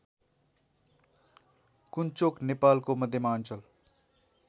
कुन्चोक नेपालको मध्यमाञ्चल